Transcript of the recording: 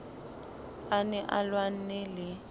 a ne a lwanne le